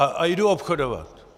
A jdu obchodovat.